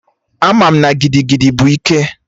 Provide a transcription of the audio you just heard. Ama m na gigigidi bụ ike